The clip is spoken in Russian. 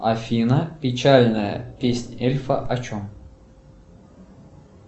афина печальная песнь эльфа о чем